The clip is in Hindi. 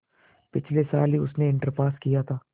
पिछले साल ही उसने इंटर पास किया था